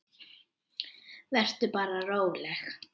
Vertu bara róleg.